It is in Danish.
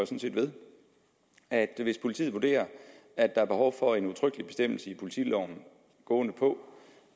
set ved at hvis politiet vurderer at der er behov for en udtrykkelig bestemmelse i politiloven gående på